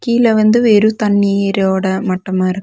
கீழ வந்து வெறும் தண்ணீரோட மட்டமா இருக்கு.